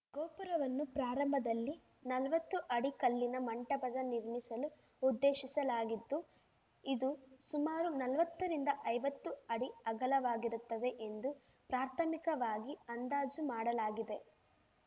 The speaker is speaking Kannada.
ಗೋಪುರವನ್ನು ಪ್ರಾರಂಭದಲ್ಲಿ ನಲ್ವತ್ತು ಅಡಿ ಕಲ್ಲಿನ ಮಂಟಪದ ನಿರ್ಮಿಸಲು ಉದ್ದೇಶಿಸಲಾಗಿದ್ದು ಇದು ಸುಮಾರು ನಲ್ವತ್ತರಿಂದ ಐವತ್ತು ಅಡಿ ಅಗಲವಾಗಿರುತ್ತದೆ ಎಂದು ಪ್ರಾಥಮಿಕವಾಗಿ ಅಂದಾಜು ಮಾಡಲಾಗಿದೆ